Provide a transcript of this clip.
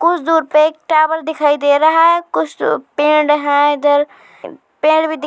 कुछ दूर पे टावर दिखाई दे रहा है कुछ दूर पेड़ है इधर इ पेड़ भी दिख --